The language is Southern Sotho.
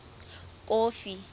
kofi